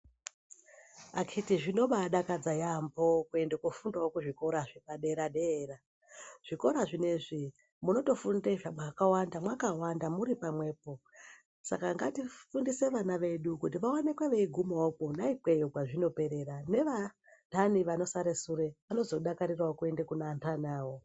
Akiti zvinoba dakadza yambo kuenda kunofundawo pazvikoro zvepadera dera zvikora zvineizvi munotofunda zvakawanda makawanda muripamwepo saka ngatifundise vana vedu kuti vaomekwe veigumawo kona ikoko pazvino perera nevandani vanosare sure vano zodakarira wo kuenda kune vandani vavo.